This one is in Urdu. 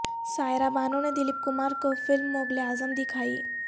سائرہ بانو نے دلیپ کمار کو فلم مغل اعظم د کھائی